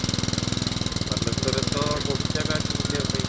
ବାଲେଶ୍ବରରେ ତ ବହୁତ ଜାଗା ଅଛି ବୁଲିବା ପାଇଁ